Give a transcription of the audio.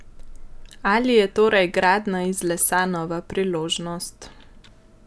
Ali je torej gradnja iz lesa nova priložnost?